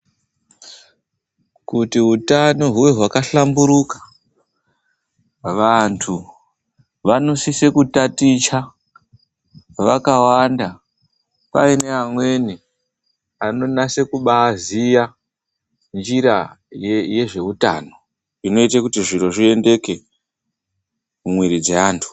Kuti utano huve hwakahlamburuka, vantu vanosisa kutaticha vakawanda paine amweni anonase kubaaziya njira yezveutano inoita kuti zviro zviendeke mumwiri dzeantu.